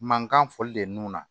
Mankan foli de na